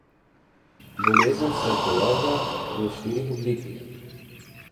Bolezen se pojavlja v štirih oblikah.